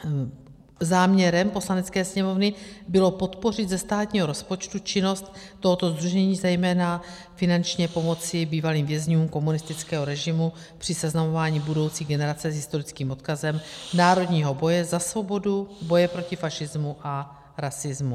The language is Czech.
Záměrem Poslanecké sněmovny bylo podpořit ze státního rozpočtu činnost tohoto sdružení, zejména finančně pomoci bývalým vězňům komunistického režimu, při seznamování budoucí generace s historickým odkazem národního boje za svobodu, boje proti fašismu a rasismu.